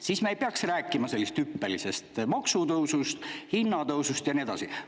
Siis me ei peaks rääkima sellest hüppelisest maksutõusust, hinnatõusust ja nii edasi.